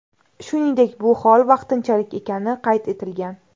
Shuningdek, bu hol vaqtinchalik ekani qayd etilgan.